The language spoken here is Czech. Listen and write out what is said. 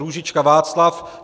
Růžička Václav